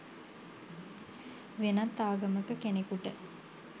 වෙනත් ආගමක කෙනෙකුට